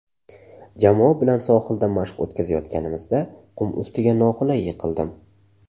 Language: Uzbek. Jamoa bilan sohilda mashq o‘tkazayotganimizda qum ustiga noqulay yiqildim.